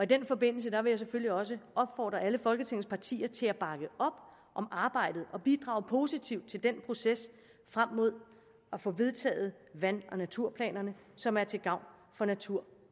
den forbindelse vil jeg selvfølgelig også opfordre alle folketingets partier til at bakke op om arbejdet og bidrage positivt til den proces frem mod at få vedtaget vand og naturplanerne som er til gavn for natur